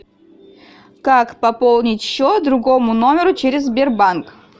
как пополнить счет другому номеру через сбербанк